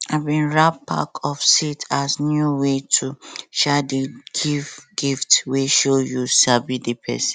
i bin wrap packet of seed as new way to um dey give gifts wey show you sabi di person